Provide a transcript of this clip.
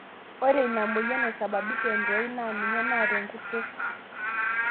Ore inamoyian naisababisha entoi naa ninye naata enkurto.